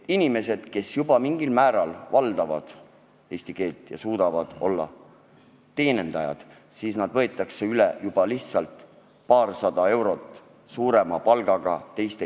Inimesed, kes mingilgi määral valdavad eesti keelt ja suudavad olla teenindajad, lähevad Maximast tööle teistesse kettidesse, kus makstakse paarsada eurot suuremat palka.